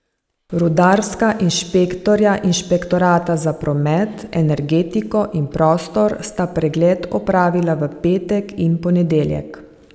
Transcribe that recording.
Rudarska inšpektorja inšpektorata za promet, energetiko in prostor sta pregled opravila v petek in ponedeljek.